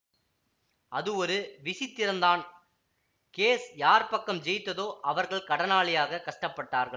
அது ஒரு விசித்திரந்தான் கேஸ் யார் பக்கம் ஜெயித்ததோ அவர்கள் கடனாளியாகக் கஷ்டப்பட்டார்கள்